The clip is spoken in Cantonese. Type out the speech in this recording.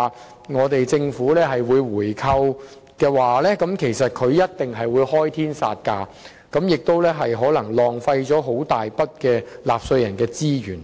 展政府會進行回購，他們一定會開天殺價，這樣可能會浪費一大筆納稅人資源。